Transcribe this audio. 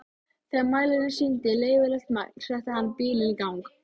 Þegar mælirinn sýndi leyfilegt magn setti hann bílinn í gang.